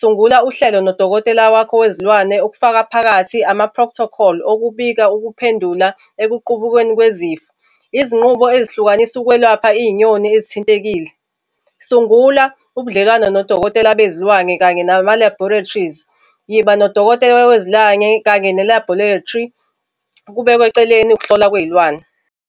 sungula uhlelo nodokotela wakho wezilwane okufaka phakathi ama-proctocol okubika ukuphendula ekuqubukeni kwezifo. Izinqubo ezihlukanisa ukwelapha iy'nyoni ezithintekile. Sungula ubudlelwano nodokotela bezilwane kanye nama-laboratories. Yiba nodokotela wezilwane, kanye ne-laboratory, kubekwe eceleni ukuhlolwa kwey'lwane.